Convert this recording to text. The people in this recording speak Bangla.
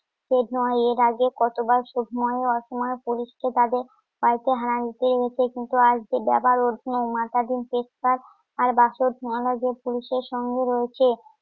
এর আগে কতবার কিন্তু আজকে মাতা দিন পেশকার পুলিশের সঙ্গে রয়েছে